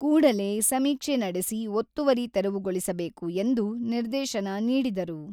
ಕೂಡಲೇ ಸಮೀಕ್ಷೆ ನಡೆಸಿ ಒತ್ತುವರಿ ತೆರವುಗೊಳಿಸಬೇಕು ಎಂದು ನಿರ್ದೇಶನ ನೀಡಿದರು.